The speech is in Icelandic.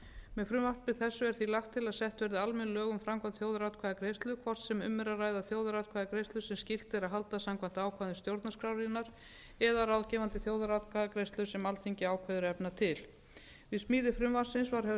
með frumvarpi þessu er því lagt til að sett verði almenn lög um framkvæmd þjóðaratkvæðagreiðslu hvort sem um er að ræða þjóðaratkvæðagreiðslu sem skylt er að halda samkvæmt ákvæðum stjórnarskrárinnar eða ráðgefandi þjóðaratkvæðagreiðslu sem alþingi ákveður að efna til við smíði frumvarpsins var höfð